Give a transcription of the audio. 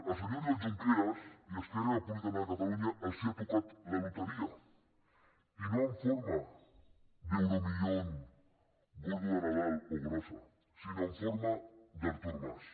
al senyor oriol junqueras i a esquerra republicana de catalunya els ha tocat la loteria i no en forma d’euromillón gordo de nadal o grossa sinó en forma d’artur mas